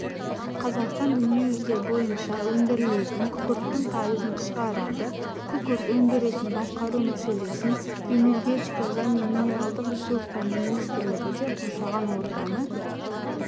қазақстан дүниежүзі бойынша өндірілетін күкірттің пайызын шығарады күкірт өндірісін басқару мәселесін энергетика және минералдық ресурстар министрлігі де қоршаған ортаны